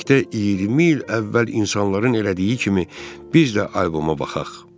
Birlikdə 20 il əvvəl insanların elədiyi kimi, biz də alboma baxaq.